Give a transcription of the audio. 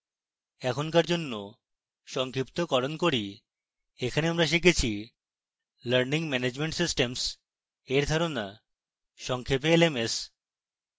এখন for জন্য সংক্ষিপ্তকরণ করি